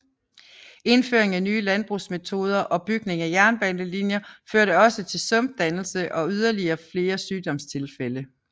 Indføring af nye landbrugsmetoder og bygning af jernbanelinjer førte også til sumpdannelse og yderligere flere sygdomstilfælde